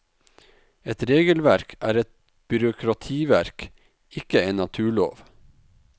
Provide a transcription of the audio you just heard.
Et regelverk er et byråkrativerk, ikke en naturlov!